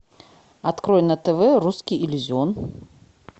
открой на тв русский иллюзион